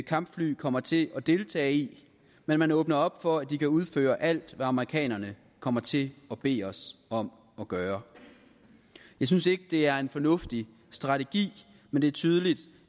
kampfly kommer til at deltage i men man åbner op for at de kan udføre alt hvad amerikanerne kommer til at bede os om at gøre jeg synes ikke at det er en fornuftig strategi men det er tydeligt